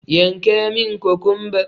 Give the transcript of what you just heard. Yanka mun kokumba!